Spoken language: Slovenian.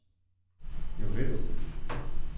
Mar ni to ravno antiteza provokativnosti?